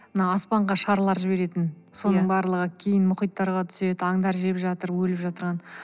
мына аспанға шарлар жіберетін иә соның барлығы кейін мұхиттарға түседі аңдар жеп жатыр өліп жатырған